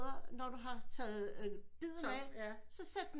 Når du har taget biden af så sæt den